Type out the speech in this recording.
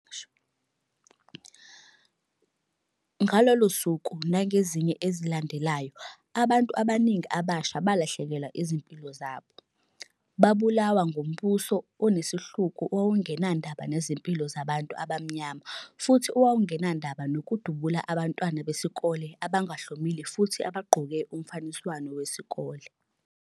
Ngalolo suku nangezinye ezilandelayo, abantu abaningi abasha balahlekelwa izimpilo zabo. Babulawa ngumbuso onesihluku owawungenandaba nezimpilo zabantu abamnyama futhi owawungenandaba nokudubula abantwana besikole abangahlomile futhi abagqoke umfaniswano wesikole.